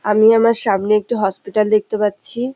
আমি আমার সামনে একটি হসপিটাল দেখতে পাচ্ছি।